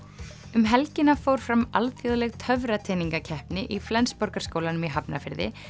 um helgina fór fram alþjóðleg í Flensborgarskólanum í Hafnarfirði